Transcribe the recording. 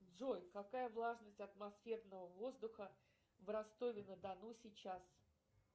джой какая влажность атмосферного воздуха в ростове на дону сейчас